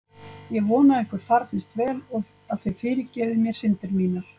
Ég vona að ykkur farnist vel og að þið fyrirgefið mér syndir mínar.